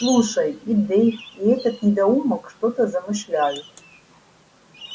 слушай и дейв и этот недоумок что-то замышляют